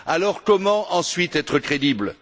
Alors comment ensuite être crédible?